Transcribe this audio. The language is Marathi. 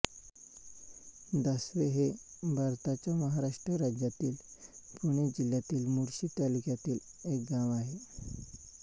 दासवे हे भारताच्या महाराष्ट्र राज्यातील पुणे जिल्ह्यातील मुळशी तालुक्यातील एक गाव आहे